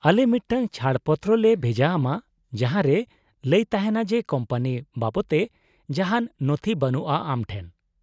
-ᱟᱞᱮ ᱢᱤᱫᱴᱟᱝ ᱪᱷᱟᱹᱲ ᱯᱚᱛᱨᱚ ᱞᱮ ᱵᱷᱮᱡᱟ ᱟᱢᱟ ᱡᱟᱦᱟᱸ ᱨᱮ ᱞᱟᱹᱭ ᱛᱟᱦᱮᱱᱟ ᱡᱮ ᱠᱳᱢᱯᱟᱱᱤ ᱵᱟᱵᱚᱛᱮ ᱡᱟᱦᱟᱱ ᱱᱚᱛᱷᱤ ᱵᱟᱱᱩᱜᱼᱟ ᱟᱢ ᱴᱷᱮᱱ ᱾